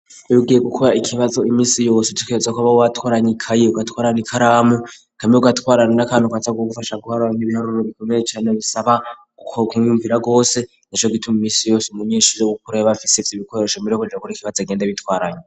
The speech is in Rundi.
Iyo ugiye gukora ikibazo imisi yose utegerezwa kwama watwaranye ikayi ugatwarana n'ikaramu hamwe ugatwarana n'akantu kaza ku gufasha guharura ibiharuro bikomeye cane bisaba kowo kwiyumvira cane gose nico gituma imisi yose umunyeshuri ko yoba abafise ivyo ibikoresho mbere yokuja gukora ikibazo agenda abitwaranye.